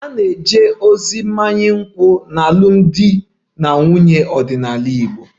A ga-eje ozi mmanya nkwụ n'alụmdi na nwunye ọdịnala Igbo